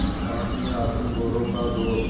न सास में आत्मगौरव का जोश